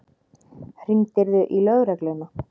Hringdirðu í lögregluna?